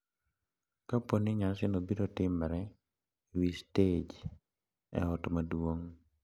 Kapo ni nyasino biro timre e wi stej e ot maduong’,